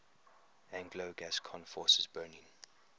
anglo gascon forces burning